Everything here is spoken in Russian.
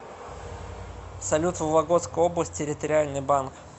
салют вологодская область территориальный банк